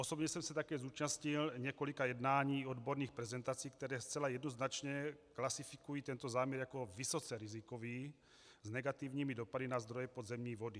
Osobně jsem se také zúčastnil několika jednání, odborných prezentací, které zcela jednoznačně klasifikují tento záměr jako vysoce rizikový s negativními dopady na zdroje podzemní vody.